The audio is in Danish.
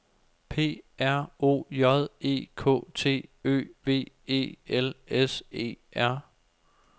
P R O J E K T Ø V E L S E R